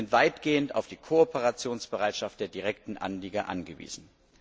Wir sind weitgehend auf die Kooperationsbereitschaft der direkten Anlieger angewiesen.